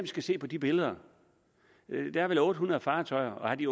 skal se på de billeder der er vel otte hundrede fartøjer og har de